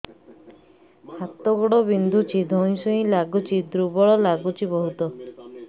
ହାତ ଗୋଡ ବିନ୍ଧୁଛି ଧଇଁସଇଁ ଲାଗୁଚି ଦୁର୍ବଳ ଲାଗୁଚି ବହୁତ